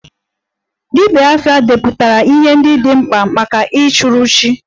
Dibia 'afa' depụtara ihe ndị dị mkpa maka ịchụrụ chi